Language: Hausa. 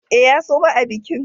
E, ya suma a bikin.